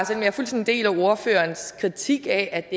selv om jeg fuldstændig deler ordførerens kritik af at